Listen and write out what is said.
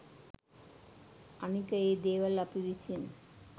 අනික ඒ දේවල් අපි විසින්